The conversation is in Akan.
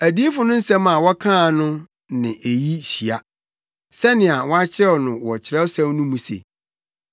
Adiyifo no nsɛm a wɔkaa no ne eyi hyia, sɛnea wɔakyerɛw wɔ Kyerɛwsɛm no mu se: